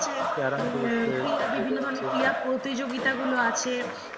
বিভিন্ন ধরণের ক্রীড়াপ্রতিযোগিতা গুলো আছে